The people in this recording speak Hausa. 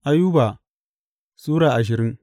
Ayuba Sura ashirin